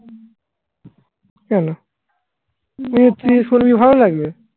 কেন তুই শুনবি সেটা ভালো লাগে?